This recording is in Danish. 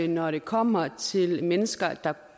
når det kommer til mennesker der